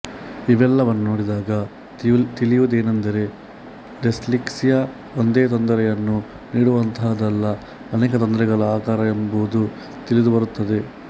ಇವೆಲ್ಲವನ್ನು ನೋಡಿದಾಗ ತಿಳಿಯುವುದೇನೆಂದರೆ ಡಿಸ್ಲೆಕ್ಸಿಯಾ ಒಂದೇ ತೊಂದರೆಯನ್ನು ನೀಡುವಂತಹುದ್ದಲ್ಲ ಅನೇಕ ತೊಂದರೆಗಳ ಆಗರ ಎಂಬುದು ತಿಳಿದುಬರುತ್ತದೆ